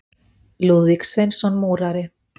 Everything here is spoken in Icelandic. Lúðvík Sveinsson múrari.